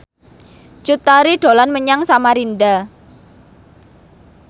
Cut Tari dolan menyang Samarinda